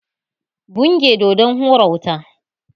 Buge Dodon mai hura wuta!